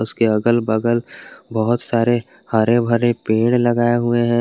के अगल बगल बहोत सारे हरे भरे पेड़ लगाए हुए हैं।